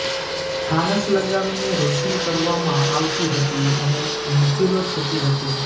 ફાનસ લગાવીને રોશની કરવામાં આવતી હતી અને મહેફિલો થતી હતી